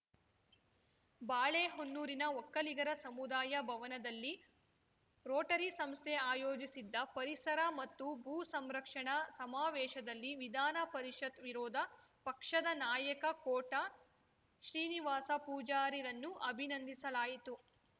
ಬಾಳೆಹೊನ್ನೂರಿನ ಒಕ್ಕಲಿಗರ ಸಮುದಾಯ ಭವನದಲ್ಲಿ ರೋಟರಿ ಸಂಸ್ಥೆ ಆಯೋಜಿಸಿದ್ದ ಪರಿಸರ ಮತ್ತು ಭೂ ಸಂರಕ್ಷಣಾ ಸಮಾವೇಶದಲ್ಲಿ ವಿಧಾನಪರಿಷತ್‌ ವಿರೋಧ ಪಕ್ಷದ ನಾಯಕ ಕೋಟ ಶ್ರೀನಿವಾಸ ಪೂಜಾರಿರನ್ನು ಅಭಿನಂದಿಸಲಾಯಿತು